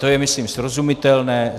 To je myslím srozumitelné.